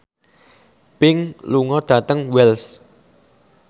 Pink lunga dhateng Wells